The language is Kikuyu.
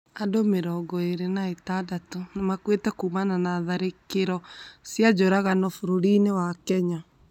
Andũ mĩrongo ĩrĩ na ithathatũ nĩmakuĩte kumana na tharĩkĩro cia njũragano bũrũri-inĩ wa Kenya